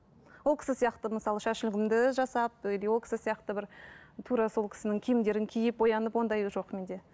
ол кісі сияқты мысалы шаш үлгімді жасап или ол кісі сияқты бір тура сол кісінің киімдерін киіп боянып ондай жоқ менде